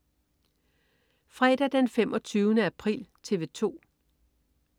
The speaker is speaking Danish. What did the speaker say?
Fredag den 25. april - TV 2: